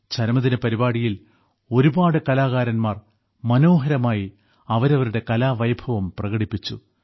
ചരമദിന പരിപാടിയിൽ ഒരുപാട് കലാകാരന്മാർ മനോഹരമായി അവരവരുടെ കലാവൈഭവം പ്രകടിപ്പിച്ചു